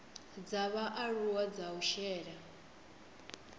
dza vhaaluwa dza u shela